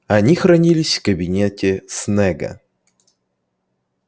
они хранились в кабинете снегга